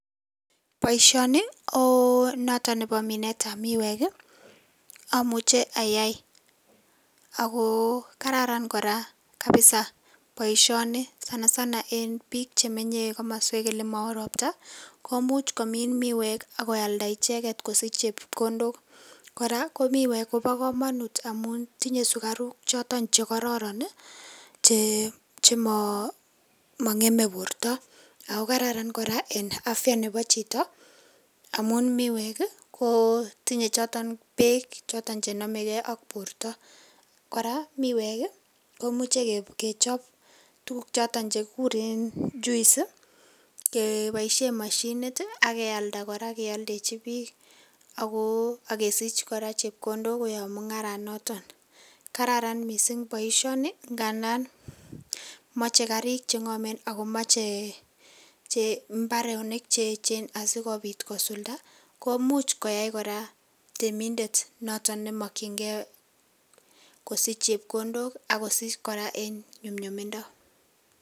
Boisioni konoto nebo minetab miwek. Amuche ayai ago kararan kora kapisa boisioni sanasana eng biik chemenye eng komoswek olemao ropta komuch komin miwek ak koalda icheget kosich chepkondok. Kora ko miwek kobo kamanut amun tinye sugaruk choto chekororon chemangeme borto. Ago kararan kora en afya nebo chito amun miwek kotinye choton beek choton che namege ak borto. Kora miwek, komuche kechob tuguk choton chekiguren juice keboisien mashinit ak kealda kora keoldechi biik ak kesich chepkondok koyob mungaranoton. Kararan mising boisioni ngandan moche karik chengomen ago moche mbaronik cheechen asigopit kosulda komuch koyai kora temindet noto ne makyinge kosich chepkondok ak kosich kora en nyumnyumindo.